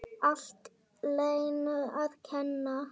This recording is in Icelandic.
Allt Lenu að kenna!